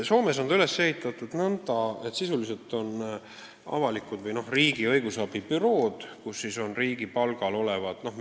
Soomes on see üles ehitatud nõnda, et sisuliselt on olemas avalikud või riigi õigusabibürood, kus töötavad riigi palgal olevad inimesed.